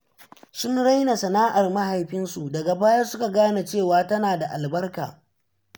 Sun raina sana’ar mahaifinsu, daga baya suka gane cewa tana da albarka.